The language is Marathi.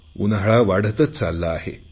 उन्हाळा वाढतच चालला आहे